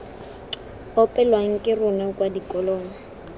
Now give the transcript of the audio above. opelwang ke rona kwa dikolong